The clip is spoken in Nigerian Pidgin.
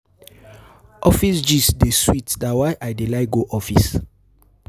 Office gist dey sweet na why I dey like go office.